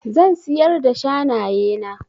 Zan siyar da shanaye na.